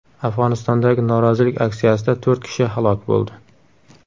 Afg‘onistondagi norozilik aksiyasida to‘rt kishi halok bo‘ldi.